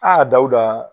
Aa dawuda